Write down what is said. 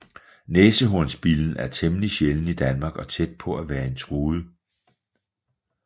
Næsehornsbillen er temmelig sjælden i Danmark og tæt på at være en truet